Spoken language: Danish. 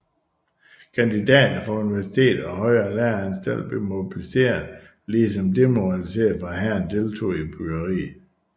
Kandidater fra universiteter og højere læreanstalter blev mobiliseret ligesom demobiliserede fra hæren deltog i byggeriet